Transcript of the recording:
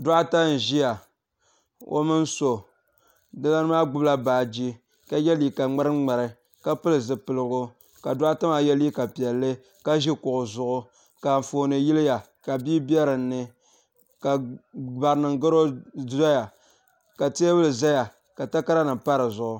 Doɣita n-ʒiya o mini so di lana maa gbubila baaji ka ye liiga ŋmari ŋmari ka pili zipiligu ka doɣita maa ye liiga piɛlli ka ʒi kuɣu zuɣu ka anfooni yiliya ka bia be dini ka barinima garo doya ka teebuli zaya ka takaranima pa di zuɣu.